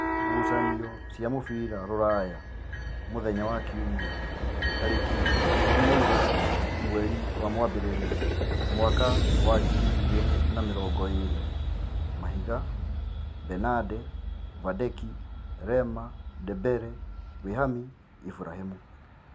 Ngucanio cia mũbira Ruraya Jumapiri mweri ikũmi naigĩrĩ wa mbere mwaka wa ngiri igĩrĩ na namĩrongoĩrĩ: Mahiga, Benade, Vandeki, Rema, Ndembere, Wihami, Iburahĩmi